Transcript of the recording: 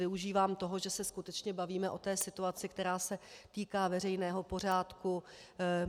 Využívám toho, že se skutečně bavíme o té situaci, která se týká veřejného pořádku.